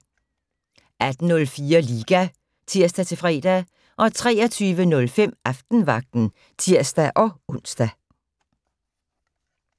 18:04: Liga (tir-fre) 23:05: Aftenvagten (tir-ons)